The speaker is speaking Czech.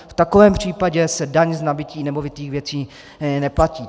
V takovém případě se daň z nabytí nemovitých věcí neplatí.